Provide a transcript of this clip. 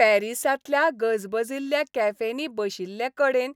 पॅरीसांतल्या गजबजिल्ल्या कॅफेंनी बशिल्लेकडेन